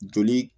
Joli